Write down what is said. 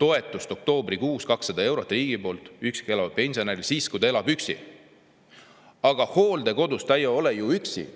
toetust oktoobrikuus 200 eurot riigi poolt üksi elavale pensionärile siis, kui ta elab üksi, aga hooldekodus ta ei ole ju üksi.